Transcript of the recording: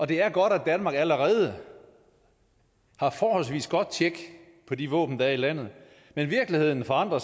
det er godt at danmark allerede har forholdvis godt tjek på de våben der er i landet men virkeligheden forandrer